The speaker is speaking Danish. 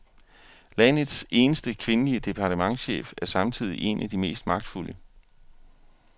Landets eneste kvindelige departementschef er samtidig en af de mest magtfulde.